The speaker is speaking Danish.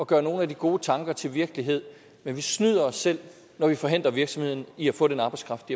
gøre nogle af de gode tanker til virkelighed men vi snyder os selv når vi forhindrer virksomhederne i at få den arbejdskraft